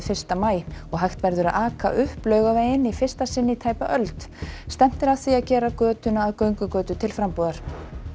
fyrsta maí og hægt verður að aka upp Laugaveginn í fyrsta sinn í tæpa öld stefnt er að því að gera götuna að göngugötu til frambúðar